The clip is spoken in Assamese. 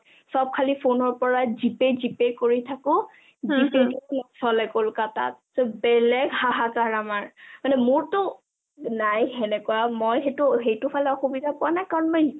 চব খালী phone ৰ পৰা G pay G pay কৰি থাকো কলকতাত বেলেগ হাহাকাৰ আমাৰ মানে মোৰটো নাই হেনেকোৱা মই সেইটো ফালে অসুবিধা পোৱা নাই কাৰণ মই